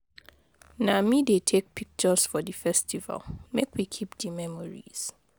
Na me dey take pictures for di festival, make we keep di memories.